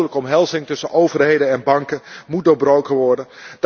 De dodelijke omhelzing tussen overheden en banken moet doorbroken worden.